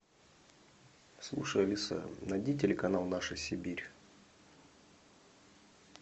слушай алиса найди телеканал наша сибирь